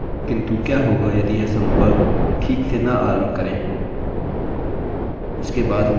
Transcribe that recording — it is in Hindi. हमने अपना सम्पर्क बना लिया है किन्तु क्या होगा यदि यह सम्पर्क ठीक से न आरम्भ करे